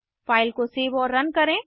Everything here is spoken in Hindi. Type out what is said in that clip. फ़ाइल को सेव और रन करें